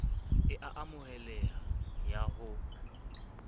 e a amoheleha ya ho